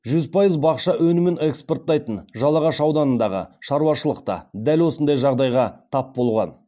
жүз пайыз бақша өнімін экспорттайтын жалағаш ауданындағы шаруашылық та дәл осындай жағдайға тап болған